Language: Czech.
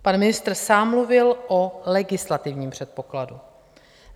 Pan ministr sám mluvil o legislativním předpokladu.